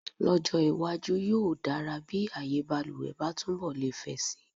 Lọ́jọ́ iwájú, yóò dára bí ààyèbaluwẹ̀ bá túnbọ̀ lè fẹ̀ si.